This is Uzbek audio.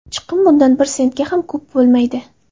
Chiqim bundan bir sentga ham ko‘p bo‘lmaydi.